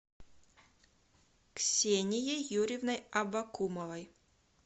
ксенией юрьевной абакумовой